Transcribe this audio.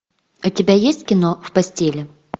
у тебя есть кино в постели